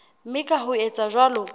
mme ka ho etsa jwalo